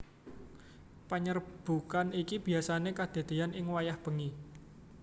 Panyerbukan iki biyasané kadadéyan ing wayah bengi